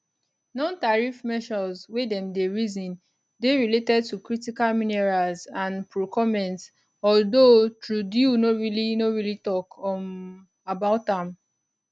nontariff measures wey dem dey reason dey related to critical minerals and procurements although trudeau no really no really tok um about am